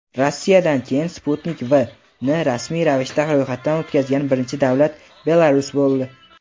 Rossiyadan keyin "Sputnik V"ni rasmiy ravishda ro‘yxatdan o‘tkazgan birinchi davlat Belarus bo‘ldi.